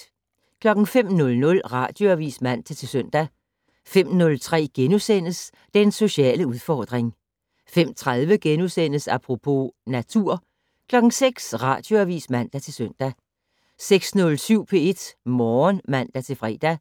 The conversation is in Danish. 05:00: Radioavis (man-søn) 05:03: Den sociale udfordring * 05:30: Apropos - natur * 06:00: Radioavis (man-søn) 06:07: P1 Morgen (man-fre) 07:00: